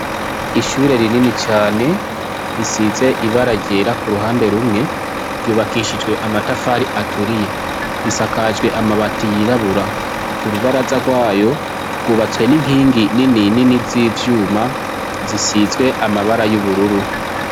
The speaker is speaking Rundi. Ishure rinini cane risize ibara ryera kuruhande rumwe, ryubakishijwe amatafari aturiye risakajwe amabati yirabura, urubaraza rwayo rwubatswe ninkingi ninini zivyuma zisizwe amabara yubururu.